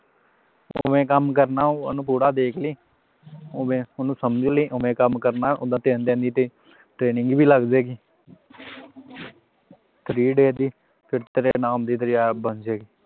ਕਿਵੇਂ ਕੰਮ ਕਰਨਾ ਆ ਉਹਨੂੰ ਪੂਰਾ ਦੇਖ ਲਵੀਂ ਹੋਵੇ ਉਹਨੂੰ ਸਮਝ ਲੈਣੀ ਹੋਵੇ ਕੰਮ ਕਰਨਾ ਆ ਉਹਦੀ ਤਿੰਨ ਦਿਨ ਦੀ training training ਵੀ ਲੱਗ ਜਾਵੇਗੀ three day ਦੀ ਫੇਰ ਤੇਰੀ app ਬਣ ਜਾਏਗੀ